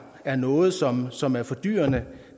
er noget som som er fordyrende